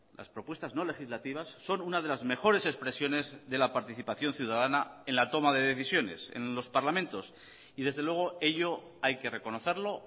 las propuestas no legislativas son una de las mejores expresiones de la participación ciudadana en la toma de decisiones en los parlamentos y desde luego ello hay que reconocerlo